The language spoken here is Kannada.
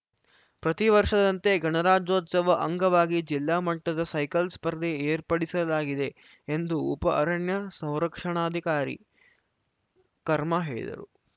ಪ್ರತಿ ವರ್ಷದಂತೆ ಗಣರಾಜ್ಯೋತ್ಸವ ಅಂಗವಾಗಿ ಜಿಲ್ಲಾ ಮಟ್ಟದ ಸೈಕಲ್‌ ಸ್ಪರ್ಧೆ ಏರ್ಪಡಿಸಲಾಗಿದೆ ಎಂದು ಉಪ ಅರಣ್ಯ ಸಂರಕ್ಷಣಾಧಿಕಾರಿ ಕರ್ಮ ಹೇಳಿದರು